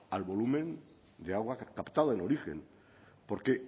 al volumen de agua captada en origen porque